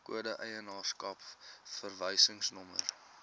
kode eienaarskap verwysingsnommer